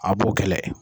A b'o kɛlɛ